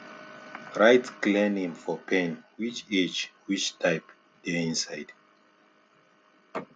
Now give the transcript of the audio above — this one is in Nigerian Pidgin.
write clear name for pen which age which type dey inside